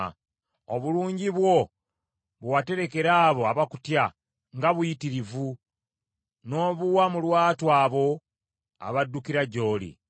Obulungi bwo, bwe waterekera abo abakutya nga buyitirivu, n’obuwa mu lwatu abo abaddukira gy’oli.